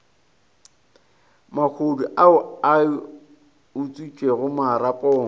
mahodu ao a utswitšego marapo